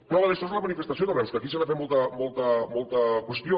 prova d’això és la manifestació de reus que aquí se n’ha fet molta qüestió